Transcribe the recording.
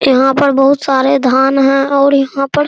यहाँ पर बहुत सारे धान हैं और यहाँ पर --